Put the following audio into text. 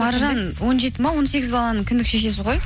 маржан он жеті ме он сегіз баланың кіндік шешесі ғой